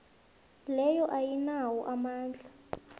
leyo ayinawo amandla